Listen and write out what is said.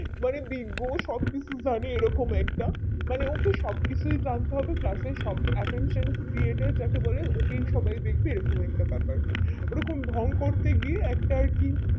মানে বিগ্য সব কিছু জানে এই রকম একটা মানে ওকে সব কিছু জানতে হবে এই রকম একটা attention created যাকে বলে ওকেই সবাই দেখবে এই রকম একটা ব্যাপার ওই রকম ঢং করতে গিয়ে একটা আর কি